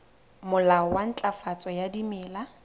molao wa ntlafatso ya dimela